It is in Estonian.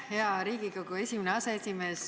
Hea Riigikogu esimene aseesimees!